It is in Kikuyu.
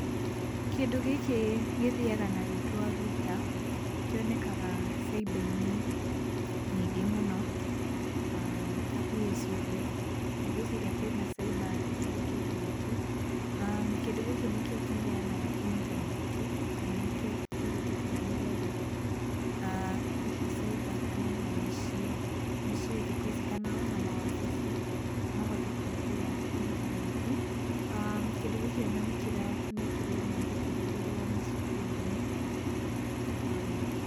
Kĩndũ gĩkĩ gĩthiaga na rĩtwa router, kĩonekaga caiba-inĩ nyingĩ mũno, hakuhĩ ciothe, ndigwĩciria kwĩna caiba ĩtarĩ kĩndũ gĩkĩ. Kĩndũ gĩkĩ nĩkĩo kĩheanaga intaneti. Nĩkĩo kĩhũthĩkaga, nĩgetha hihi caiba kana ona mĩciĩ, mĩciĩ thikũ ici, kana ona mawabici mahote kũhũthĩra intaneti. Kĩndũ gĩkĩ ona nĩtũrona gĩkĩhũthĩrwo macukuru-inĩ kwa wĩingĩ.